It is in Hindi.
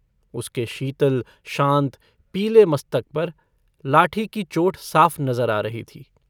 उसके शीतल शान्त पीले मस्तक पर लाठी की चोट साफ़ नजर आ रही थी।